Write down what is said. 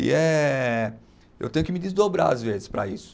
E eh, eu tenho que me desdobrar às vezes para isso.